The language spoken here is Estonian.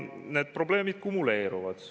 Need probleemid kumuleeruvad.